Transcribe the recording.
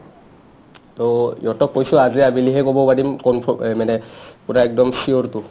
to ইহতক কৈছো আজি আবেলিহে ক'ব পাৰিম কনফ্ৰ এ মানে পূৰা একদম sure টো